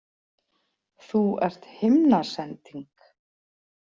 Þú ert himnasending.